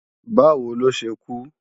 Báwo ló ṣe kú?